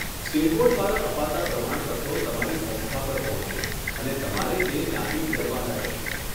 State board દ્વારા અપાતાં પ્રમાણપત્રો તમારી સંસ્થા પર પહોંચશે, અને તમારે તે ત્યાંથી મેળવવાના રહેશે.